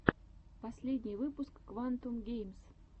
последний выпуск квантум геймс